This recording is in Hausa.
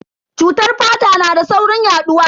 Cutar fata na da saurin yaduwa.